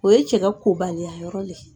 O ye cɛkɛ ka kobaliya yɔrɔ ye.